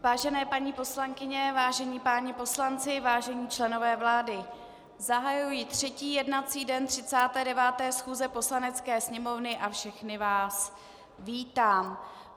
Vážené paní poslankyně, vážení páni poslanci, vážení členové vlády, zahajuji třetí jednací den 39. schůze Poslanecké sněmovny a všechny vás vítám.